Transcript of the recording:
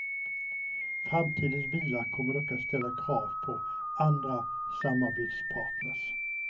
Framtidens bilar kommer dock att ställa krav på andra samarbetspartners.